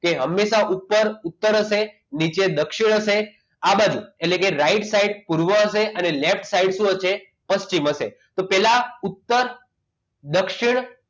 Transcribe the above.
કે હંમેશા ઉપર ઉતર હશે નીચે દક્ષિણ હશે આ બાજુ એટલે કે right side પૂર્વ હશે અને left side શું હશે પશ્ચિમ હશે તો પહેલા ઉત્તર દક્ષિણ